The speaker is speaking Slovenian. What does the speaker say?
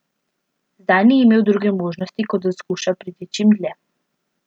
Zdaj ni imel druge možnosti, kot da skuša priti čim dlje.